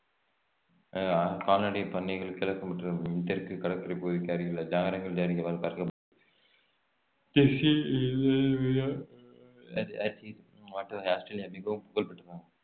ஆஹ் கால்நடை பண்ணைகள் கிழக்கு மற்றும் தெற்கு கடற்கரை பகுதிக்கு அருகிலுள்ள ஆஸ்திரேலியா மிகவும் புகழ்பெற்றது